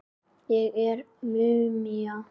Ég er múmían.